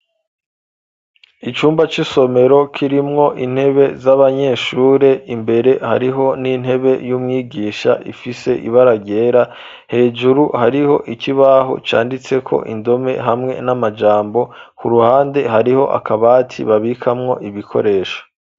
icumba c'isomero kirimwo intebe z'abanyeshure, imbere hariho n'intebe y'umwigisha ifise ibara ryera, hejuru hariho ikibaho canditseko indome hamwe n'amajambo , ku ruhande hariho akabati babikamwo ibikoresho.